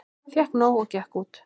Fékk nóg og gekk út